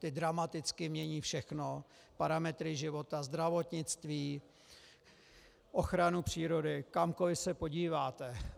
Ty dramaticky mění všechno, parametry života, zdravotnictví, ochranu přírody, kamkoli se podíváte.